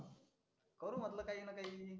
करु म्हटलं काहीना काही.